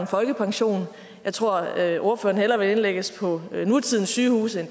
folkepension jeg tror at at ordføreren hellere ville indlægges på et af nutidens sygehuse end